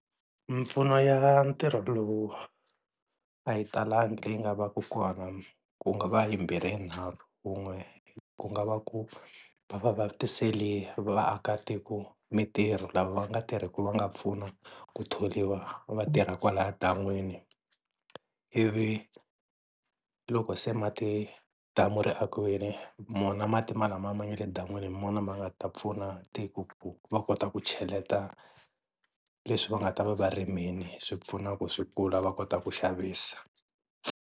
Mimpfuno ya ntirho lowu a yi talangi leyi yi nga va ku kona, ku nga va yimbirhi yinharhu, wun'we ku nga va ku va va vatiselini vaakatiko mintirho lava va nga tirhiku va nga pfuna ku thoriwa va tirha kwalaya dan'wini, ivi loko se mati damu ri akiwile wona mati malamaya ma nga le dan'wini hi wona ma nga ta pfuna tiko ku va kota ku cheleta leswi va nga ta va va rimili swi pfuna ku swi kula va kota ku xavisa.